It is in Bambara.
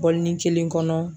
Bɔlini kelen kɔnɔ